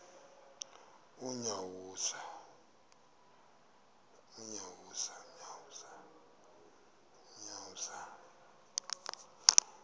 unyawuza